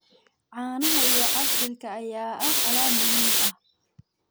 Caanaha iyo casiirka ayaa ah alaab muhiim ah.